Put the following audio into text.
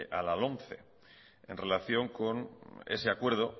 a la lomce en relación con ese acuerdo